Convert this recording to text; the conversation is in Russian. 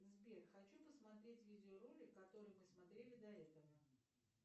сбер хочу посмотреть видеоролик который мы смотрели до этого